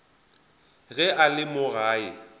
ge a le mo gae